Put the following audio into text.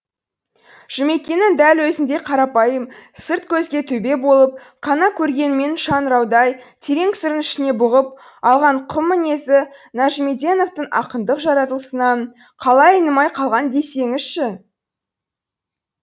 жұмекеннің дәл өзіндей қарапайым сырт көзге төбе болып қана көргенімен шаңыраудай терең сырын ішіне бұғып алған құм мінезі нәжімеденовтың ақындық жаратылысынан қалай айнымай қалған десеңізші